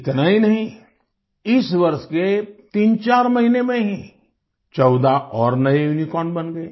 इतना ही नहीं इस वर्ष के 34 महीने में ही 14 और नए यूनिकॉर्न बन गए